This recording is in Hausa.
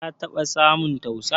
Ka taba samun tausa?